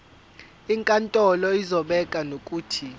inkantolo izobeka nokuthi